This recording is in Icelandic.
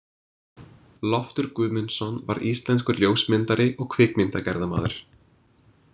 Loftur Guðmundsson var íslenskur ljósmyndari og kvikmyndagerðarmaður.